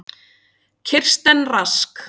Kirsten Rask.